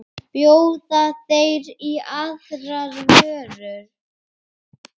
Bjóða þeir í aðrar vörur?